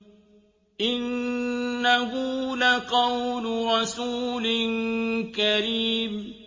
إِنَّهُ لَقَوْلُ رَسُولٍ كَرِيمٍ